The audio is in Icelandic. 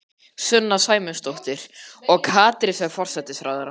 Sunna Sæmundsdóttir: Og Katrín sem forsætisráðherra?